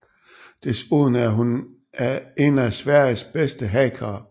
Desuden er hun en af Sveriges bedste hackere